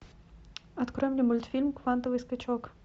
открой мне мультфильм квантовый скачок